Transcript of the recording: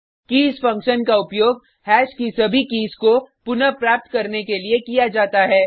keys function का उपयोग hash की सभी कीज़ को पुनः प्राप्त करने के लिये किया जाता है